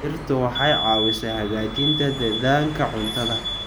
Dhirtu waxay caawisaa hagaajinta dhadhanka cuntada.